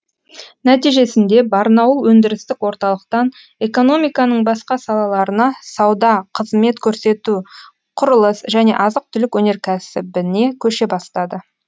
нәтижесінде барнауыл өндірістік орталықтан экономиканың басқа салаларына сауда қызмет көрсету құрылыс және азық түлік өнеркәсібіне көше бастады